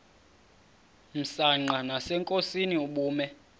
msanqa nasenkosini ubume